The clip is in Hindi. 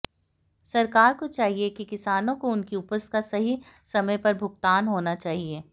सरकार को चाहिए कि किसानों को उनकी उपज का सही समय पर भुगतान होना चाहिए